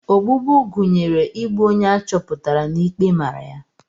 Ogbugbu gụnyere igbu onye a chọpụtara na ikpe mara ya.